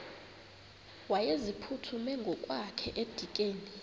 wayeziphuthume ngokwakhe edikeni